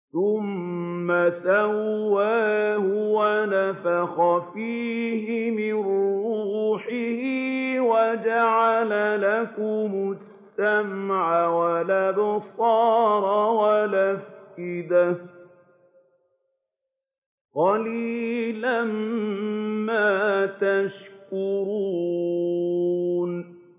ثُمَّ سَوَّاهُ وَنَفَخَ فِيهِ مِن رُّوحِهِ ۖ وَجَعَلَ لَكُمُ السَّمْعَ وَالْأَبْصَارَ وَالْأَفْئِدَةَ ۚ قَلِيلًا مَّا تَشْكُرُونَ